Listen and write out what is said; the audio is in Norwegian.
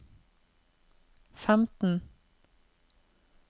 femten